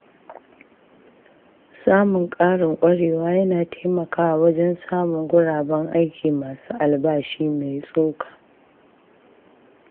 Samun ƙarin ƙwarewa yana taimakawa wajen samun guraben aiki masu albashi mai tsoka.